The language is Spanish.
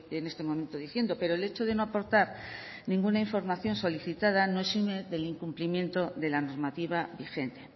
en este momento diciendo pero el hecho de no aportar ninguna información solicitada no exime del incumplimiento de la normativa vigente